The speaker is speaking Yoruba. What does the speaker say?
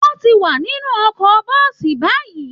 Wọn ti wà nínú ọkọ̀ bọ́ọ̀sì báyìí